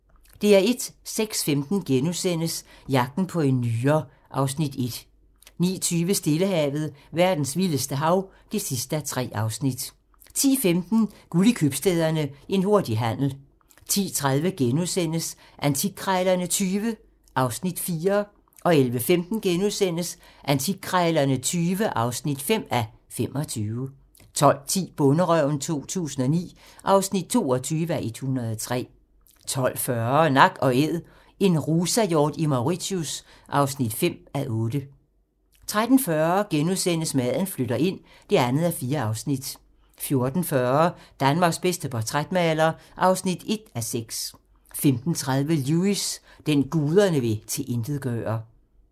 06:15: Jagten på en nyre (Afs. 1)* 09:20: Stillehavet - verdens vildeste hav (3:3) 10:15: Guld i købstæderne – En hurtig handel 10:30: Antikkrejlerne XX (4:25)* 11:15: Antikkrejlerne XX (5:25)* 12:10: Bonderøven 2009 (22:103) 12:40: Nak & Æd – en rusahjort i Mauritius (5:8) 13:40: Maden flytter ind (2:4)* 14:40: Danmarks bedste portrætmaler (1:6) 15:30: Lewis: Den, guderne vil tilintetgøre